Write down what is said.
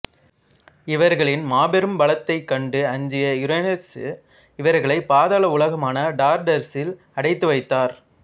இவர்களின் மாபெரும் பலத்தைக் கண்டு அஞ்சிய யுரேனசு இவர்களை பாதாள உலகமான டார்டரசில் அடைத்து வைத்தார்